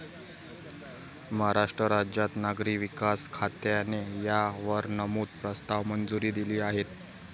महाराष्ट्र राज्याच्या नागरी विकास खात्याने या वर नमूद प्रस्तावास मंजुरी दिली आहे.